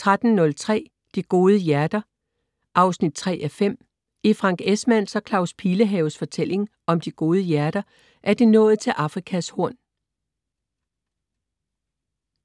13.03 De Gode Hjerter 3:5. I Frank Esmanns og Claus Pilehaves fortælling om De Gode Hjerter er de nået til Afrikas Horn